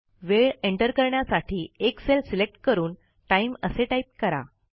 वेळ एंटर करण्यासाठी एक सेल सिलेक्ट करून टाइम असे टाईप करा